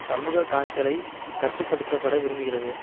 சமூக காய்ச்சல் ஐ கட்டு படுத்த பட விரும்புகிறது